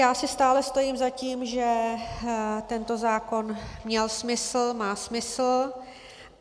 Já si stále stojím za tím, že tento zákon měl smysl, má smysl.